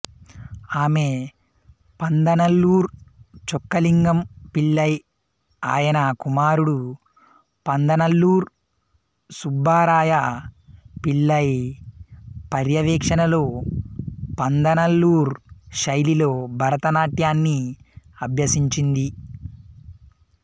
ఆమె పందనల్లుర్ చొక్కలింగం పిళ్ళై ఆయన కుమారుడు పందనల్లూర్ సుబ్బరాయ పిళ్ళై పర్యవేక్షణలో పందనల్లూర్ శైలిలో భరతనాట్యాన్ని అభ్యసించింది